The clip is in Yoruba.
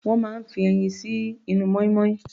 Wọ́n máa ń fi ẹyin sí inú mọ́ínmọ́ín.